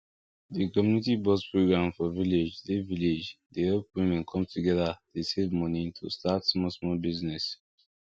di community box program for village dey village dey help women come together dey save money to start small small business